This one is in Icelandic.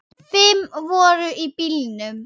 Fimm voru í bílnum.